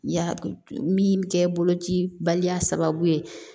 Ya min bɛ kɛ bolo cibaliya sababu ye